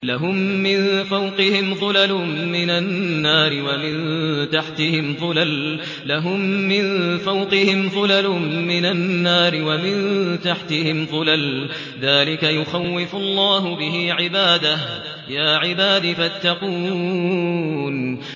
لَهُم مِّن فَوْقِهِمْ ظُلَلٌ مِّنَ النَّارِ وَمِن تَحْتِهِمْ ظُلَلٌ ۚ ذَٰلِكَ يُخَوِّفُ اللَّهُ بِهِ عِبَادَهُ ۚ يَا عِبَادِ فَاتَّقُونِ